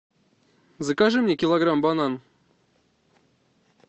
закажи мне килограмм банан